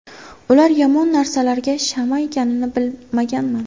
Ular yomon narsalarga shama ekanini bilmaganman”.